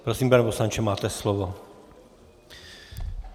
Prosím, pane poslanče, máte slovo.